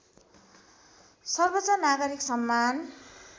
सर्वोच्च नागरिक सम्मान